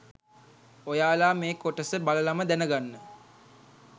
ඔයාලා මෙ කොටස බලලම දැන ගන්න